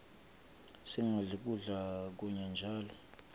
singadli kudla kunye njalo